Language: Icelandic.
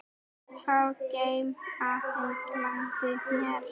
Sá gegn ágangi landið ver.